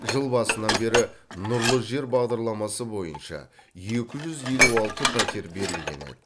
жыл басынан бері нұрлы жер бағдарламасы бойынша екі жүз елу алты пәтер берілген еді